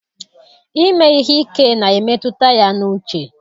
Ime ihe ike na-emetụta ya n'uche.